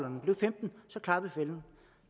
så klappede fælden